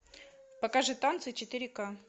покажи танцы четыре ка